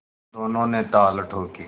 दोनों ने ताल ठोंकी